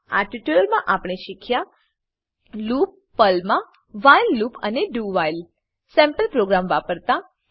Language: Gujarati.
આ ટ્યુટોરીયલમાં આપણે શીખ્યા છે લૂપ પર્લમાં વ્હાઇલ લૂપ અને do વ્હાઇલ સેમ્પલ પ્રોગ્રામ વાપરતા